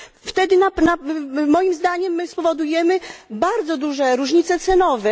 Wtedy moim zdaniem spowodujemy bardzo duże różnice cenowe.